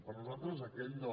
per nosaltres aquest no